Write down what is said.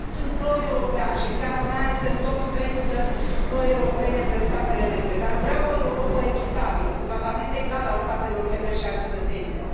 Sunt pro european, iar țara mea este între primele trei țări pro europene între statele membre, dar vreau o Europă echitabilă, cu tratament egal al statelor membre și al cetățenilor.